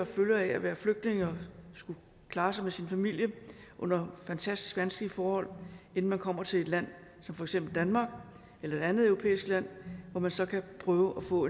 følger af være flygtning og skulle klare sig med sin familie under fantastisk vanskelige forhold inden man kommer til et land som for eksempel danmark eller et andet europæisk land hvor man så kan prøve at få